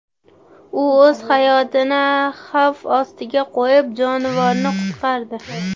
U o‘z hayotini xavf ostiga qo‘yib, jonivorni qutqardi.